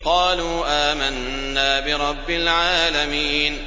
قَالُوا آمَنَّا بِرَبِّ الْعَالَمِينَ